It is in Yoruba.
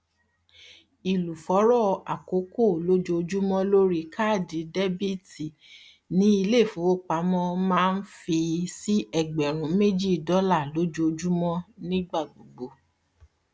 ìlúfọọrọ àkọkọ lójoojúmọ lórí káàdì debiti ni iléifowopamọ maa ń fi sí ẹgbẹrún méjì dọlà lójoojúmọ ní gbígbà gbogbo